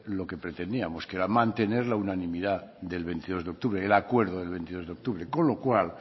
lo que pretendíamos que era mantener la unanimidad del veintidós de octubre el acuerdo del veintidós de octubre con lo cual